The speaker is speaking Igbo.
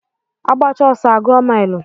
Agbachaa ọsọ a gụọ milu.